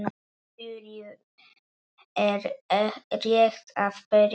Fjörið er rétt að byrja!